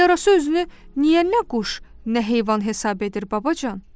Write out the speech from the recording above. Yarasa özünü niyə nə quş, nə heyvan hesab edir babacan?